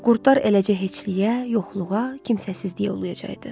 Qurdlar eləcə heçliyə, yoxluğa, kimsəsizliyə uluyacaqdı.